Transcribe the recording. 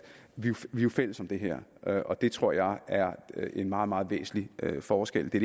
vi jo er fælles om det her og det tror jeg er en meget meget væsentlig forskel det